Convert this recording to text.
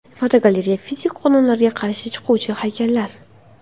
Fotogalereya: Fizika qonunlariga qarshi chiquvchi haykallar.